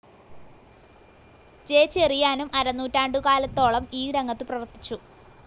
J ചെറിയാനും അരനൂറ്റാണ്ടുകാലത്തോളം ഈ രംഗത്ത്‌ പ്രവർത്തിച്ചു.